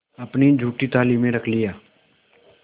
अपनी जूठी थाली में रख लिया